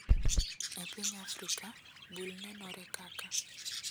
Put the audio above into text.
E piny Afrika, bul nenore kaka,